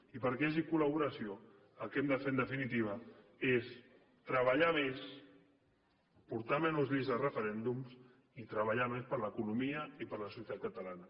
i perquè hi hagi col·laboració el que hem de fer en definitiva és treballar més portar menys lleis a referèndums i treballar més per a l’economia i per a la societat catalana